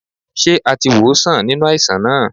Ṣé a ti wòó sàn nínú àìsàn náà?